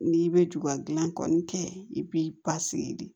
N'i bɛ juga dilan kɔni kɛ i b'i basigi de